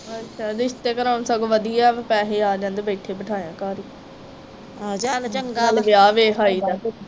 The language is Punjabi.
ਅੱਛਾ ਰਿਸ਼ਤੇ ਕਰਾਉਣੇ ਸਗੋਂ ਵਧੀਆ ਵਾ ਪੈਸੇ ਆ ਜਾਂਦੇ ਬੈਠੇ ਬਿਠਾਇਆ ਘਰ ਈ ਨਾਲੇ ਵਿਆਹ ਵੇਖ ਆਈ ਦਾ